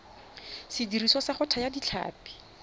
sediriswa sa go thaya ditlhapi